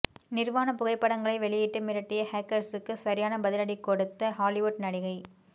நிர்வாணப் புகைப்படங்களை வெளியிட்டு மிரட்டிய ஹேக்கர்ஸ்க்கு சரியான பதிலடி கொடுத்த ஹாலிவுட் நடிகை